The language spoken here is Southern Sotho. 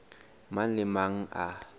mang le a mang a